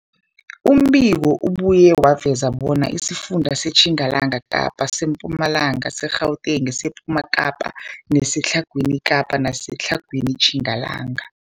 Umbiko ubuye waveza bona isifunda seTjingalanga Kapa, seMpumalanga, seGauteng, sePumalanga Kapa, seTlhagwini Kapa neseTlhagwini Tjingalanga.